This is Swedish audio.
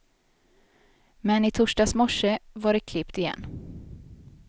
Men i torsdags morse var det klippt igen.